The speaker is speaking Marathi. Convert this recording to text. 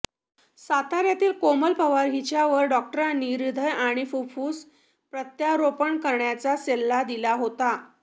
साताऱ्यातील कोमल पवार हिच्यावर डॉक्टरांनी हृदय आणि फुफ्फूस प्रत्यारोपण करण्याचा सल्ला दिला होता